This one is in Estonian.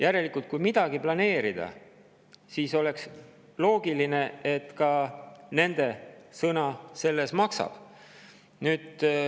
Järelikult, kui midagi planeerida, siis oleks loogiline, et ka nende sõna maksab.